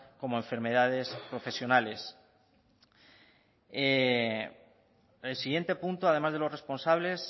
como enfermedades profesionales el siguiente punto además de los responsables